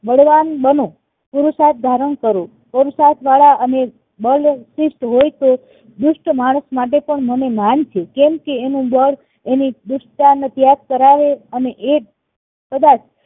બળવાન બનો પુરુષાર્થ ધારણ કરો પુરુષાર્થ વાળા અને હોય તો દુષ્ટ માણસ માટે મને માન છે કેમકે એનું બળ એની દુષ્ટતાને ત્યાગ કરાવે અને એ કદાચ